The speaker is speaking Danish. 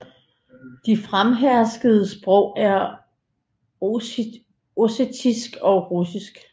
De fremherskende sprog er ossetisk og russisk